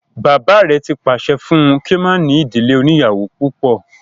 Bàbá rẹ̀ ti pàṣẹ fún un kí ó má ní ìdílé oníyàwó púpọ̀